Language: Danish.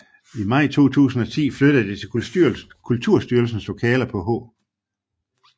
I maj 2010 flyttede det til Kulturstyrelsens lokaler på H